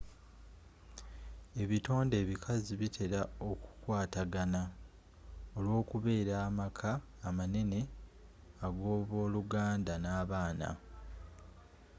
ebitonde ebikazi bitera okukwatagana olw'okubeera amaka amanene ag'aboluganda n'abaana